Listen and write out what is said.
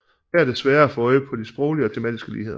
Her er det sværere at få øje på de sproglige og tematiske ligheder